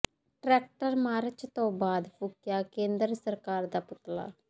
tractor march ਤੋਂ ਬਾਅਦ ਫੂਕਿਆ ਕੇਂਦਰ ਸਰਕਾਰ ਦਾ ਪੁਤਲਾ